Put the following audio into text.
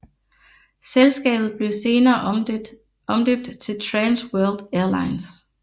Selskabet blev senere omdøbt til Trans World Airlines